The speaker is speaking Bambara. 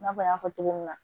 I n'a fɔ an y'a fɔ cogo min na